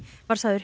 var sagður